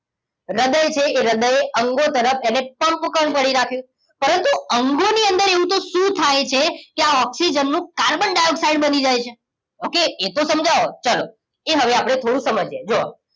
હ્રદય છે એ હ્રદય અંગો તરફ એટલેકે પંપકણ પડી રાખ્યું પરતું અંગોની અંદર એવું તો શું થાય છે આ ઓક્સિજન નું કાર્બન ડાઇઓક્સાઇડ બની જાય છે ઓકે એતો સમજાવો ચલો એ હવે આપણા થોડું સમજી એ જુવો